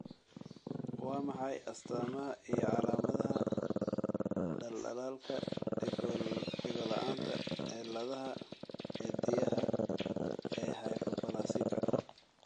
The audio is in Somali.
Waa maxay astamaha iyo calaamadaha dhaldhalaalka Dhegola'aanta cilladaha ciddiyaha ee hypoplasika?